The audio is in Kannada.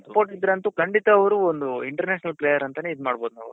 support ಇದ್ರಂತು ಖಂಡಿತ ಅವ್ರು ಒಂದು international player ಅಂತಾನೆ ಇದ್ ಮಾಡ್ಬೋದ್ ನಾವು .